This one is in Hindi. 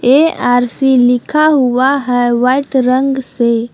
ए_आर_सी लिखा हुआ है वाइट रंग से।